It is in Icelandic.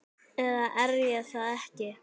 eða er ég það ekki?